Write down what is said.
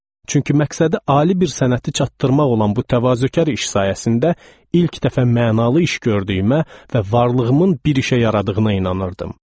Çünki məqsədi ali bir sənəti çatdırmaq olan bu təvazökar iş sayəsində ilk dəfə mənalı iş gördüyümə və varlığımın bir işə yaradığına inanırdım.